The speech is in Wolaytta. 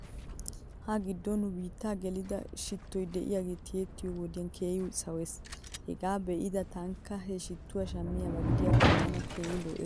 Ha giddon nu biittaa gelida shitto diyaagee tiyettiyoo wodiyan keehi sawes. Hegaa be'ada tankka he shittuwaa shammiyaaba gidiyaakko tana keehi lo'es.